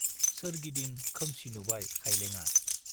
सोरगिदिं खोमसि नुबाय खाइलेंआ।